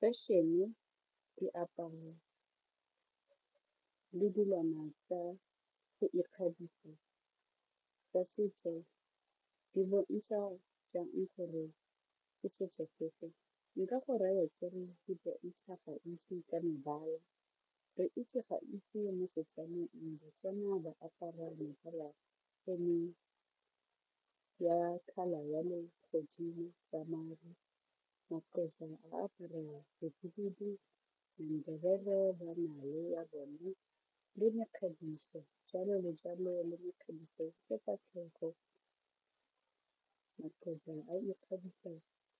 Fashion-e, diaparo le dilwana tsa go ikgabisa tsa setso di bontsha jang gore ke setso sefe, nka go raya ke re di bontsha gantsi ka mebala re itse gantsi mo Setswaneng Batswana ba apara mebala ya colour ya legodimo ya maru, maXhosa a apara bohibidu, Ndebele ba na le na le ya bone le mekgabiso jalo le jalo le mekgabiso ya sefatlhego maXhosa a ikgabisa